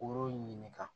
Kuru ɲininka